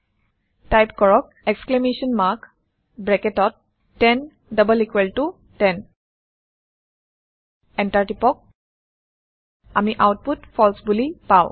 type কৰক exclamation mark ব্ৰেকেটত 10 double equal ত 10 এণ্টাৰ টিপক আমি আওতপুত ফালছে বোলি পাওঁ